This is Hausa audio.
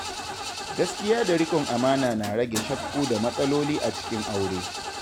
Gaskiya da riƙon amana na rage shakku da matsaloli a cikin aure.